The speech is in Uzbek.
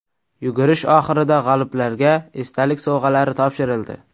Yugurish oxirida g‘oliblarga esdalik sovg‘alari topshirildi.